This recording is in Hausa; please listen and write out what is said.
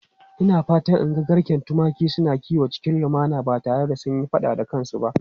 Ina fatan in ga garken tumaki suna kiwo cikin lumana ba tare da sun yi fada da kansu ba.